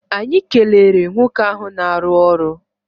Anyị kelere nwoke ahụ na-arụ ọrụ.